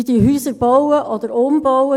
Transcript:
Sie bauen Häuser oder bauen sie um.